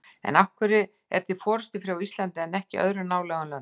En af hverju er til forystufé á Íslandi en ekki í öðrum nálægum löndum?